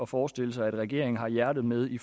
forestille sig at regeringen har hjertet med i